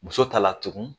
Muso ta la tugun